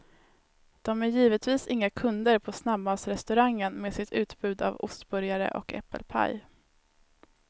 De är givetvis inga kunder på snabbmatsrestaurangen med sitt utbud av ostburgare och äpplepaj.